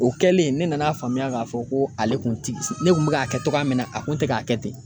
O kɛlen ne nana faamuya ka fɔ ko ale kun ti ,ne kun bi ka kɛ cogoya min na ale kun te ka kɛ ten.